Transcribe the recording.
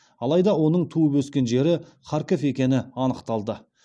алайда оның туып өскен жері харьков екені анықталды